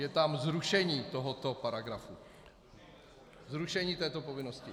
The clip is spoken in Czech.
Je tam zrušení tohoto paragrafu, zrušení této povinnosti.